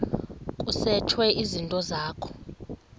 kusetshwe izinto zakho